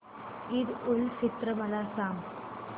ईद उल फित्र मला सांग